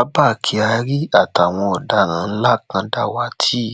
abba kyari àtàwọn ọdaràn ńlá kan dàwátì